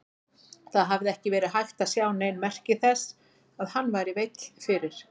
Það hafði ekki verið hægt að sjá nein merki þess að hann væri veill fyrir.